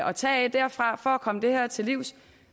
at tage af derfra for at komme det her til livs